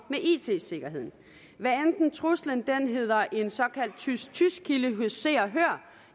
it sikkerheden hvad enten truslen hedder en såkaldt tys tys kilde hos se og hør